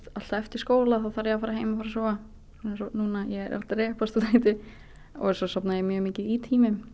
alltaf eftir skóla þarf ég að fara heim og fara að sofa eins og núna ég er að drepast úr þreytu svo sofna ég mjög mikið í tímum